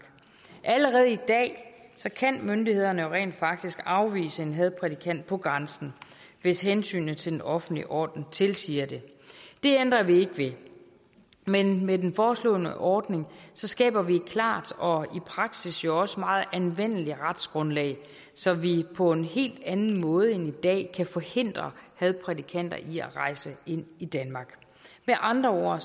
allerede i dag kan myndighederne jo rent faktisk afvise en hadprædikant på grænsen hvis hensynet til den offentlige orden tilsiger det det ændrer vi ikke ved men med den foreslåede ordning skaber vi et klart og i praksis jo også meget anvendeligt retsgrundlag så vi på en helt anden måde end i dag kan forhindre hadprædikanter i at rejse ind i danmark med andre ord